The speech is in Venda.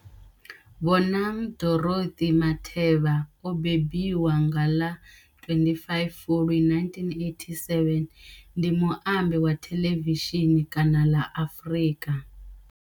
Bonang Dorothy Matheba o mbembiwa nga ḽa 25 Fulwi 1987, ndi muambi wa thelevishini kana ḽa Afrika.